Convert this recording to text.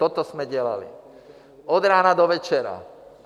Toto jsme dělali, od rána do večera.